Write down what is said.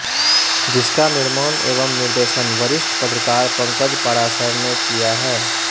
जिसका निर्माण एवं निर्देशन वरिष्ठ पत्रकार पंकज पाराशर ने किया है